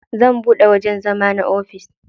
Zan buɗe wajen zama na ofis.